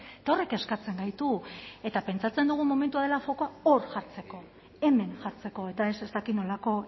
eta horrek kezkatzen gaitu eta pentsatzen dugu momentua dela fokoa hor jartzeko hemen jartzeko eta ez ez dakit nolako